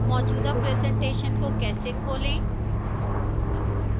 मौजूदा presentation को कैसे खोलें